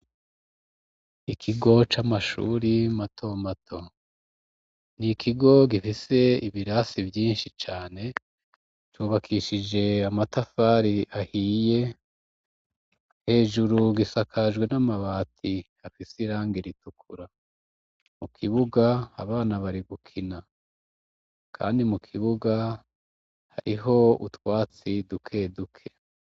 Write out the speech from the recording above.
Ikigo c'amashuri matomato ni ikigo gifise ibirasi vyinshi cane cubakishije amatafari ahiye hejuru gisakajwe n'amabati hafise irange ritukura mu kibuga abana bariwa kina, kandi mu kibuga hariho utwatsi duke duke.